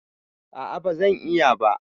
A'a ba zan iya ba.